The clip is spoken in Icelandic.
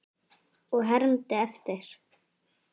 Og ég hermdi eftir.